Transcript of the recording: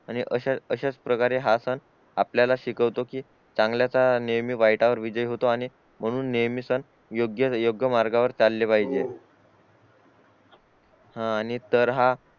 आणि अशेच प्रकारे हा सण आपल्याला शिकवतो कि चांगल्याच नेहमी वाईटावर विजय होतो आणि म्हणून नेहमी सण योग्य योग्य मार्गावर चालले पाहिजे हा आणि तर हा